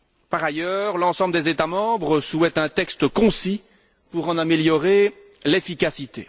Par ailleurs, l'ensemble des États membres souhaitent un texte concis, pour en améliorer l'efficacité.